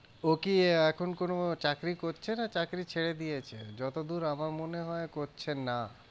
ও কি এখন কোনো চাকরি করছে না? চাকরি ছেড়ে দিয়েছে যতদূর আমার মনে হয় করছেন না।